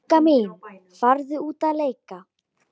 Bogga mín, farðu út að leika.